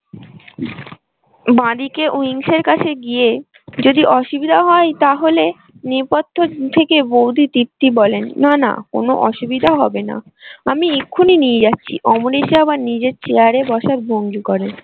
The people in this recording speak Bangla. বাঁদিকে কাছে গিয়ে যদি অসুবিধা হয় তাহলে নেপথ্য থেকে বউদি বলেন না না কোনো অসুবিধা হবে না। আমি এক্ষুনি নিয়ে যাচ্ছি অমরেশ আবার নিজের চেয়ারে বসার ভঙ্গি করেন।